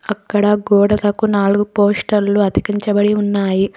అక్కడ గోడలకు నాలుగు. పోస్టల్లు అతికించబడి ఉన్నాయి.